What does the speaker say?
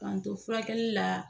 K'an to furakɛli la